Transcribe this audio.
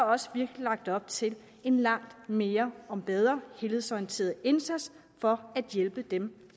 også virkelig lagt op til en langt mere og bedre helhedsorienteret indsats for at hjælpe dem